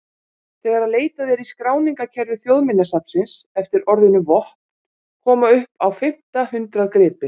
Þegar leitað er í skráningarkerfi Þjóðminjasafnsins eftir orðinu vopn koma upp á fimmta hundrað gripir.